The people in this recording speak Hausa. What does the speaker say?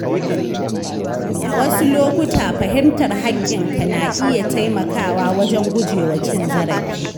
A wasu lokuta, fahimtar haƙƙinka na iya taimakawa wajen gujewa cin zarafi.